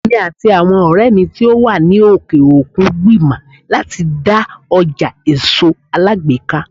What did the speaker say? Èmi àti àwọn ọ̀rẹ́ mi tó wà ní òkè òkun ń gbìmọ̀ láti dá ọjà èso alágbèéká.